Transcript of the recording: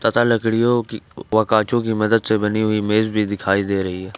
तथा लकड़ियों की व कांचो की मदद से बनी हुई मेज भी दिखाई दे रही है।